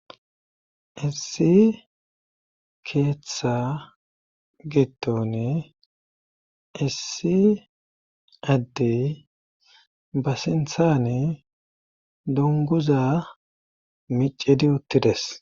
issi keeththa gidon issi addey ba sinthane dunguza micedi uttides